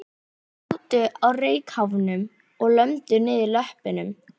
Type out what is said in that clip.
Þeir sátu á reykháfnum og lömdu niður löppunum.